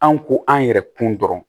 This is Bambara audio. An ko an yɛrɛ kun dɔrɔn